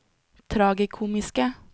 tragikomiske